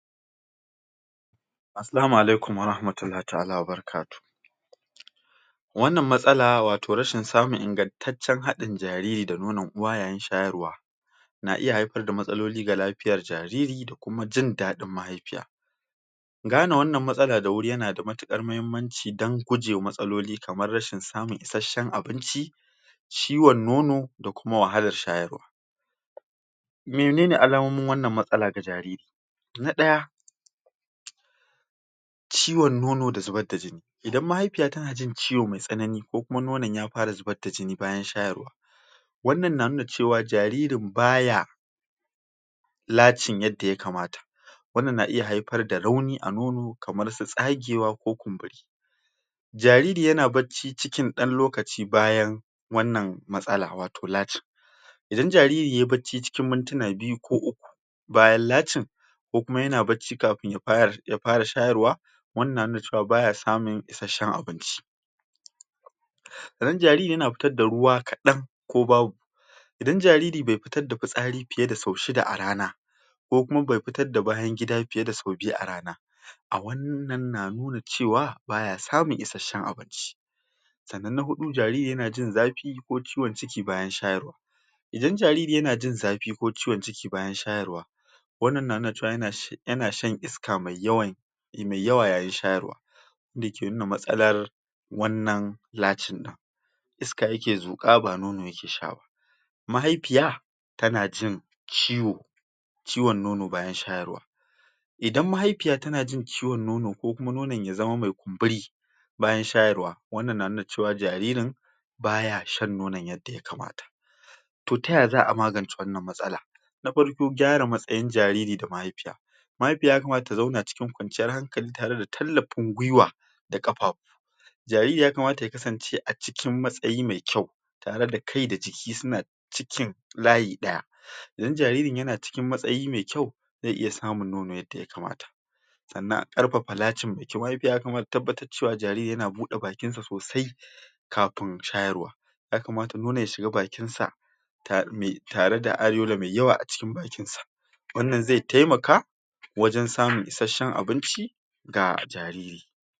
Assalamu alaikum warahmatullahi ta'ala wa barakatuhu wannan matsala wato rashin samun ingantacen haɗin jariri da nono uwa yayin shayarwa na iya haifar da matsaloli ga lafiyar jariri da kuma jin daɗin mahaifiya gane wannan matsala da wuri yana da matuƙar mahimmanci dan gujewa matsaloli kamar rashin samun isashen abinci ciwon nono da kuma wahalar shayarwa mene ne alamomin wannan matsala ga jariri na ɗaya ciwon nono da zubar da jini idan mahaifiya tana jin ciwo mai tsanani ko kuma nonon ya fara zubar da jini bayan shayarwa wannan na nuna cewa jaririn baya latching yadda yakamata wannan na iya haifar da rauni a nono kamar su tsagewa ko kumburi jariri yana bacci cikin ɗan lokaci bayan wannan matsala wato latching idan jariri yayi bacci cikin mintuna biyu ko uku bayan latching ko kuma yana bacci kafin ya fara shayarwa wannan na nuna cewa baya samun isashen abinci idan jariri yana fitar da ruwa kaɗan ko babu idan jariri bai fitar da fitsari fiye da sau shida a rana ko kuma bai fitar da bayan gida fiye da sau biyu a rana a wannan na nuna cewa baya samun isashen abinci sannan na huɗu jariri yana jin zafi ko ciwon ciki bayan shayarwa idan jariri yana jin zafi ko ciwon ciki bayan shayarwa wannan yana nuna cewa yana shan iska mai yawan mai yawa yayin shayarwa da ke nuna matsalar wannan latching ɗin iska yake zuƙa ba nono yake sha ba mahaifiya tana jin ciwo ciwon nono bayan shayarwa idan mahaifiya tana jin ciwon nono ko kuma nonon ya zama mai kumburi bayan shayarwa wannan na nuna cewa jaririn baya shan nonon yadda yakamata to ta ya za'a magance wannan matsala na farko gyara matsayin jariri da mahaifiya mahaifiya yakamata ta zauna cikin kwanciyar hankali tare da tallafin gwuiwa da ƙafafu jariri yakamata ya kasance a cikikn matsayi mai kyau tare da kai da jikin suna cikin layi ɗaya idan jaririn yana cikin matsayi mai kyau zai iya samun nono yadda yakamata sannan a karfafa latching mai kyau, mahaifiya ya kamata ta tabbatar cewa jaririn yana buɗe bakin sa sosai kafin shayarwa yakamata nonon ya shiga bakin sa tare da areola mai yawa a cikin bakin sa wannan zai taimaka wajen samun isashen abinci ga a tarihi.